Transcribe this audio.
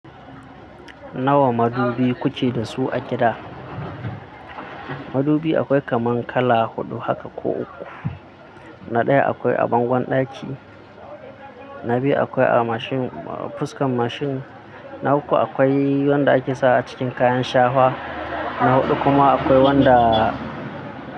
Nawa madubi ku ke da su a gida? Madubi akwai kaman kala huɗu haka ko uku. Na ɗaya akwai a bangon ɗaki, na biyu akwai a mashin fuskan mashin, na uku akwai wanda ake sa a cikin kayan shawa, na huɗu kuma akwai wanda.